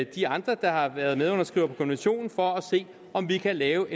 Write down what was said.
de andre der har været medunderskrivere på konventionen for at se om vi kan lave